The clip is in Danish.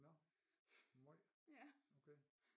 Nåh måj okay